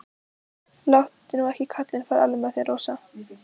Láttu nú ekki kallinn fara alveg með þig, Rósa.